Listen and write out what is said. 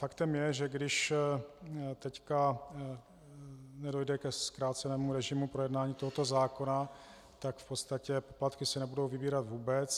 Faktem je, že když teď nedojde ke zkrácenému režimu projednání tohoto zákona, tak v podstatě poplatky se nebudou vybírat vůbec.